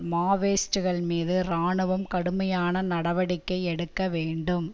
மாவேயிஸ்டுகள் மீது இராணுவம் கடுமையான நடவடிக்கை எடுக்க வேண்டும்